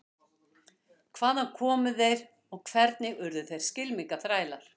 Hvaðan komu þeir og hvernig urðu þeir skylmingaþrælar?